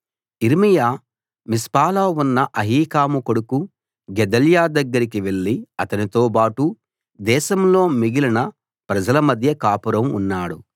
యిర్మీయా మిస్పాలో ఉన్న అహీకాము కొడుకు గెదల్యా దగ్గరికి వెళ్లి అతనితోబాటు దేశంలో మిగిలిన ప్రజల మధ్య కాపురం ఉన్నాడు